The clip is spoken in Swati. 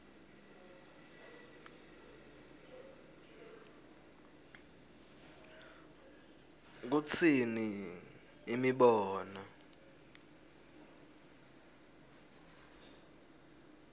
kutsini imibono